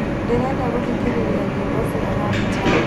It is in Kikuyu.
ndĩrenda gũthikĩria nyĩĩmbo cia hanjam